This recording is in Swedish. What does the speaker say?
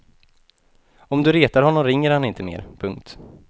Om du retar honom ringer han inte mer. punkt